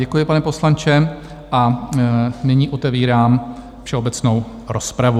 Děkuji, pane poslanče, a nyní otevírám všeobecnou rozpravu.